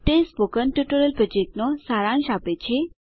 તે spoken tutorial પ્રોજેક્ટનો સારાંશ આપે છે